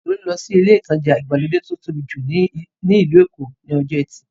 Tolú lọ sí ilé ìtajà ìgbàlódé tí ó tóbi jù ní ìlú Èkó ní ọjọ́ ẹtì